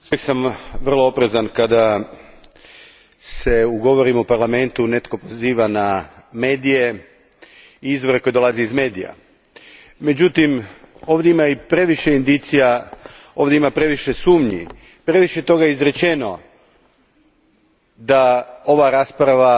Gospođo predsjedavajuća, uvijek sam vrlo oprezan kada se u govorima u Parlamentu netko poziva na medije i izvore koje dolaze iz medija. Međutim, ovdje ima i previše indicija, ovdje ima previše sumnji, previše je toga izrečeno da ova rasprava